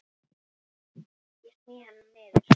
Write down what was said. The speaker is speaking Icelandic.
Ég sný hana niður.